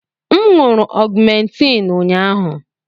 M ṅụụrụ ọgmentiin ụnyahụ.